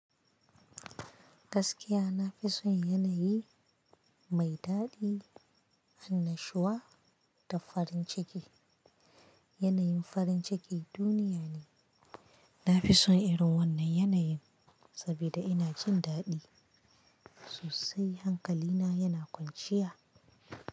Gaskiya na fi son yanayi mai daɗi, annashuwa da farin ciki. Yanayin farin ciki duniya ne. Na fi son irin wannan yanayin saboda ina jin daɗi. Sosai hankalina yana kwanciya.